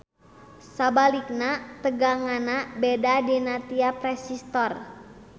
Sabalikna teganganana beda dina tiap resistor.